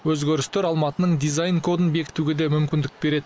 өзгерістер алматының дизайн кодын бекітуге де мүмкіндік береді